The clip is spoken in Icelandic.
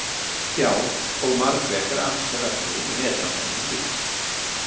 Já, og Margrét er ansi öflug í netrannsóknum líka.